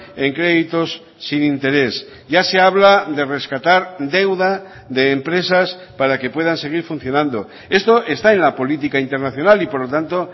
en créditos sin interés ya se habla de rescatar deuda de empresas para que puedan seguir funcionando esto está en la política internacional y por lo tanto